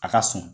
A ka sɔn